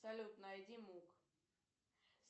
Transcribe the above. салют найди мук